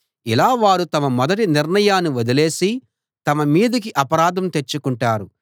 ఇలా వారు తమ మొదటి నిర్ణయాన్ని వదిలేసి తమ మీదికి అపరాధం తెచ్చుకుంటారు